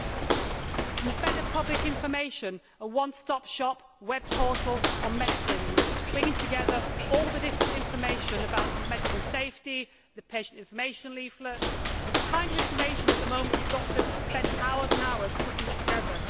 There will be better public information a one stop shop web portal on medicines, bringing together all the different information about medicine safety, the patient information leaflet the kind of information that, at the moment, you have got to spend hours putting together.